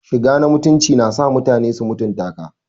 Shiga na mutunci na sa mutane su mutunta ka.